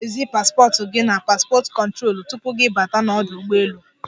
Ị ga-ezi paspọt gi n'paspọt kụtrolu tupu gị bata n'ọdụ ụgbọelu.